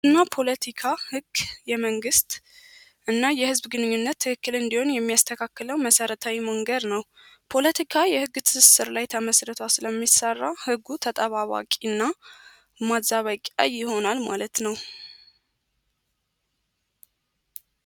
እና ፖለቲካ ሕግ የመንግሥት እና የሕዝብ ግንኙነት ትክክል እንዲሆን የሚያስተካከለው መሠረታዊ መንገድ ነው ፖለቲካ የሕግ ትስብስር ላይ ተመስርቶ ስለሚሰራ ሕጉ ተጠባባቂ እና ማዛበቂያ ይሆናል ማለት ነው።